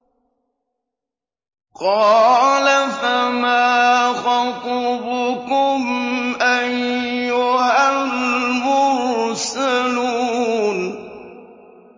قَالَ فَمَا خَطْبُكُمْ أَيُّهَا الْمُرْسَلُونَ